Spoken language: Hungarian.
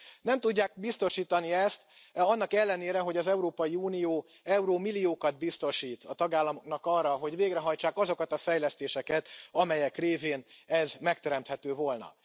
Nem tudják biztosítani ezt annak ellenére, hogy az Európai Unió eurómilliókat biztosít a tagállamoknak arra, hogy végrehajtsák azokat a fejlesztéseket, amelyek révén ez megteremthető volna.